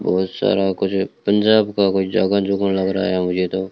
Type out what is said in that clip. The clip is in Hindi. बहुत सारा कुछ पंजाब का कोई जगह जुगह लग रहा है मुझे तो --